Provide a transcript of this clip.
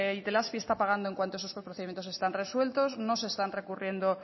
itelazpi está pagando en cuanto esos procedimientos están resueltos no se está recurriendo